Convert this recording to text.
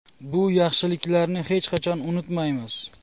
Bu yaxshiliklarni hech qachon unutmaymiz”.